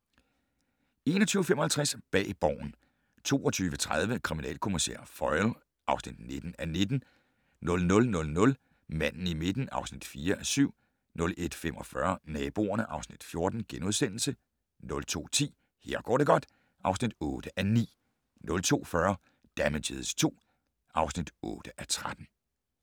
21:55: Bag Borgen 22:30: Kriminalkommissær Foyle (19:19) 00:00: Manden i midten (4:7) 01:45: Naboerne (Afs. 14)* 02:10: Her går det godt (8:9) 02:40: Damages II (8:13)